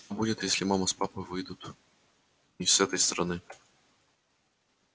будет если мама с папой выйдут не с этой стороны